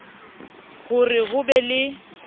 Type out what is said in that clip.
ho re ho be le